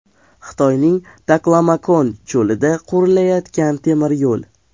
Xitoyning Taklamakon cho‘lida qurilayotgan temiryo‘l.